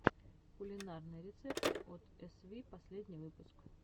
кулинарные рецепты от эсви последний выпуск